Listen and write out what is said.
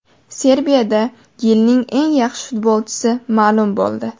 Serbiyada yilning eng yaxshi futbolchisi ma’lum bo‘ldi.